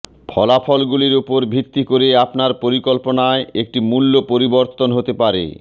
ফলাফলগুলির উপর ভিত্তি করে আপনার পরিকল্পনায় একটি মূল্য পরিবর্তন হতে পারে